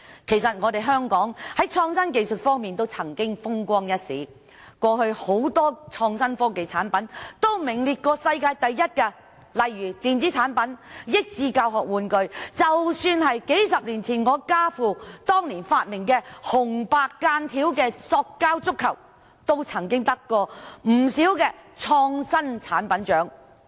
其實香港在創新技術方面曾風光一時，過去很多創新科技產品均曾名列世界第一，例如電子產品和益智教學玩具；即使是數十年前，家父當年發明的紅白間條塑膠足球亦曾獲頒不少創新產品獎項。